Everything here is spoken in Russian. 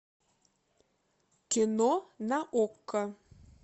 кино на окко